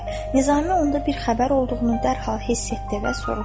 Nizami onda bir xəbər olduğunu dərhal hiss etdi və soruşdu.